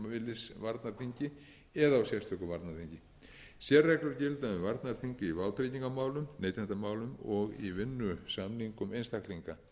á sérstöku varnarþingi sérreglur gilda um varnarþing í vátryggingamálum neytendamálum og í vinnusamningum einstaklinga